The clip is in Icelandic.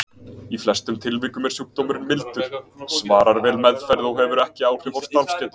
Í flestum tilvikum er sjúkdómurinn mildur, svarar vel meðferð og hefur ekki áhrif á starfsgetu.